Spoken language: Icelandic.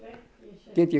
get ég